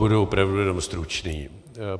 Budu opravdu jenom stručný.